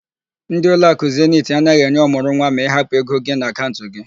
Ndi ụlọakụ Zeniti anaghị enye ọmụrụnwa ma ị hapụ ego gị n'akaụnt gị